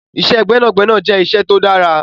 Iṣẹ́ gbẹ́nàgbẹnà jẹ́ iṣẹ́ tó dára.